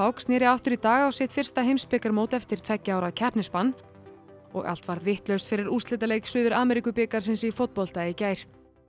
snéri aftur í dag á sitt fyrsta heimsbikarmót eftir tveggja ára keppnisbann og allt varð vitlaust fyrir úrslitaleik Suður í fótbolta í gær